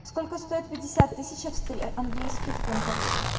сколько стоит пятьдесят тысяч английских фунтов